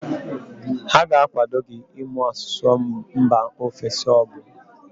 Ha ga-akwado gị ịmụ asụsụ mba ofesi abụọ.